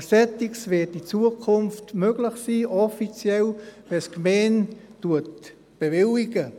Aber dergleichen wird in Zukunft offiziell möglich sein, wenn es die Gemeinde bewilligt.